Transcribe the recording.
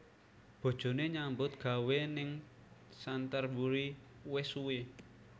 Bojone nyambut gawe ning Canterburry wis suwi